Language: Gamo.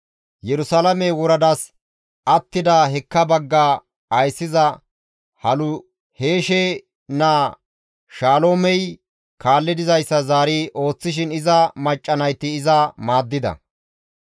Yerusalaame woradas attida hekka bagga ayssiza Haluheshe naa Shaloomey kaalli dizayssa zaari ooththishin iza macca nayti iza maaddida.